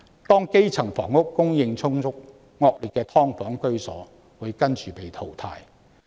當基層房屋供應充足，惡劣的"劏房"居所亦會隨之被淘汰。